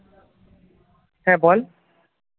হ্যাঁ বল